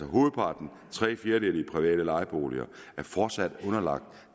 hovedparten tre fjerdedele i private lejeboliger er fortsat underlagt